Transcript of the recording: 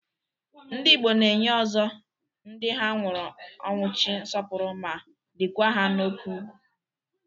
Ndị Igbo na-enye ozo ndị ha nwụrụ ọnwụchi nsọpụrụ ma likwa ha n'oke ụgwụ.